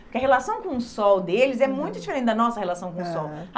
Porque a relação com o sol deles é muito diferente da nossa relação com o sol. Aham.